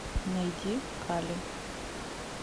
найди кали